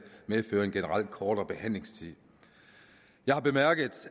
medføre en generelt kortere behandlingstid jeg har bemærket